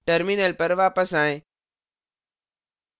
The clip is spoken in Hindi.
terminal पर वापस आएं